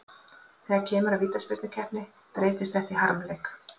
Þegar kemur að vítaspyrnukeppni breytist þetta í harmleik.